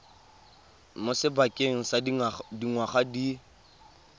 mo sebakeng sa dingwaga di